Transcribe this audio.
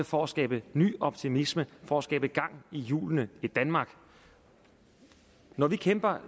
for at skabe ny optimisme for at skabe gang i hjulene i danmark når vi kæmper